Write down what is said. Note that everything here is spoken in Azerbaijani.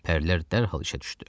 Pərlər dərhal işə düşdü.